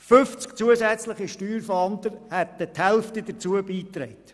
50 zusätzliche Steuerfahnder hätten die Hälfte dazu beigetragen.